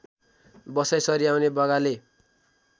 बसाइँ सरी आउने बगाले